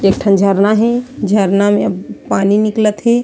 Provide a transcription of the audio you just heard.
एकठो झरना हे झरना में पानी निकलथ हे।